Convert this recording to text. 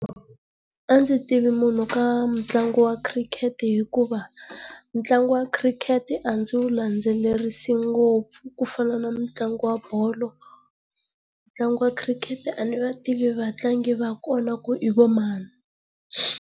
A ndzi tivi munhu ka mitlangu wa khirikete hikuva ntlangu wa khirikete a ndzi wu landzelerisi ngopfu ku fana na ntlangu wa bolo. Ntlangu wa khirikete a ndzi va tivi vatlangi va konau ivani.